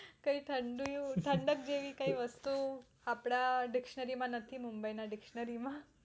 કય ઠંડુ એવું ઠંડક જેવી કઈ વસ્તુ આપડા dictionary માં નથી મુંબઈ dictionary માં